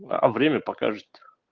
а время покажет